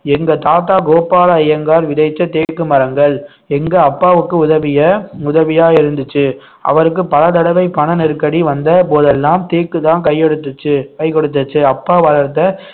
எங்க தாத்தா கோபால ஐயங்கார் விதைத்த தேக்கு மரங்கள் எங்க அப்பாவுக்கு உதவிய உதவியா இருந்துச்சு அவருக்கு பல தடவை பண நெருக்கடி வந்த போதெல்லாம் தேக்கு தான் கை எடுத்திச்சு கை கொடுத்தச்சு அப்பா வளர்த்த